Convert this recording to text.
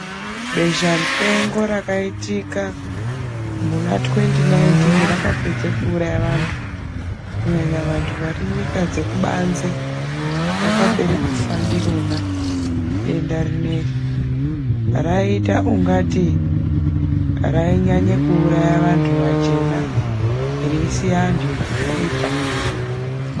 Besha-mupengo rakaitika muna thwendi naitini rakapedza kuuraya vantu. Kunyanya vantu vari nyika dzekubanze, vakapere kufa ndirona, denda rineri. Raiita ungati rainyanya kuuraya vanthu vachena, reisiya antu ekusvipa.